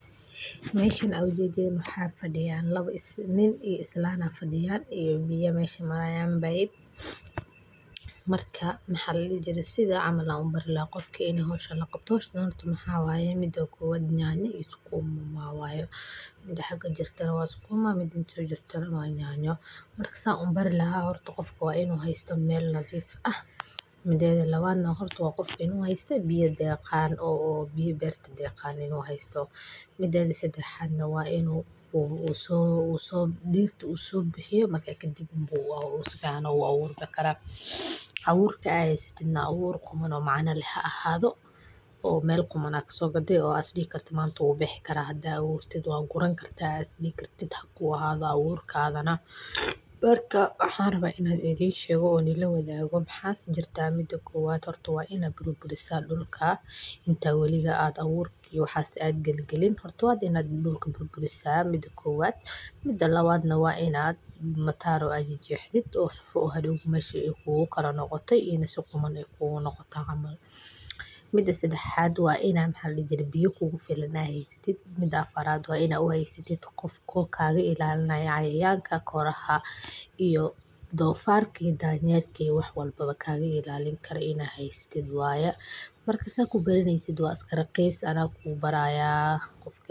Haweenku waxay door muhiim ah ka ciyaaraan beeraha, iyagoo ka shaqeeya dalagyada, beerta, iyo xoolaha, waxayna sameeyaan waxqabad aad u weyn oo ay ku taageeraan nolosha qoysaskooda iyo horumarka dalka, iyadoo ay ku dadaalaan inay koriyaan wax soosaarka kalluunka, khudaarta, midhaha, iyo xoolaha sida ariga, lo'da, iyo digaagta, iyagoo isticmaalaya qaabab casri ah oo beeraha ah si ay u wanaajiyaan wax soosaarka iyo nafaqada bulshada, iyadoo ay sidoo kale ka qayb qaataan ganacsiga iyo suuq-geynta alaabta beeraha, taas oo keenta inay helaan dakhli iyo madax banaanida dhaqaale, waxayna noqon karaan hogaamiya wacyi galin iyo tabar-barasho ku saabsan aqoonta beeraha.